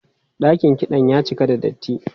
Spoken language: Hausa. Dakin kiɗan ya cika da datti.